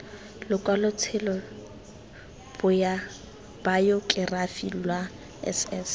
lokwalotshelo bayokerafi lwa s s